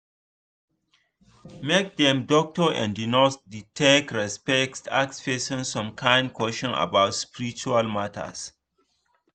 make dem doctor and nurse da take respect ask person some kind question about spiritual matters